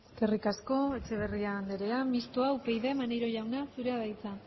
eskerrik asko etxeberria andrea mistoa upyd maneiro jauna zurea da hitza